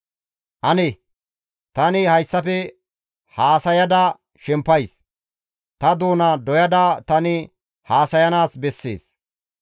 Ane! Tani hayssafe haasayada shempays; ta doona doyada tani haasayanaas bessees.